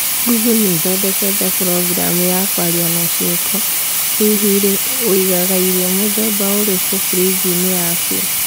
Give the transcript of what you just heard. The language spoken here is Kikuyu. Google nĩthondekete programu ya kwaria na ciĩko, Hihi rĩ woigaga irio mũthemba ũrĩkũ frinji-inĩ yaku?